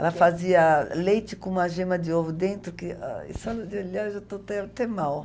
Ela fazia leite com uma gema de ovo dentro, que só de olhar já estou até até mal.